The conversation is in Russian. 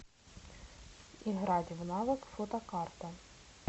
играть в навык фотокарта